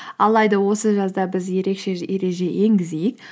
алайда осы жазда біз ерекше ереже енгізейік